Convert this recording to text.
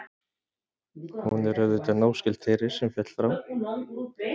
hún er auðvitað náskyld þeirri sem féll frá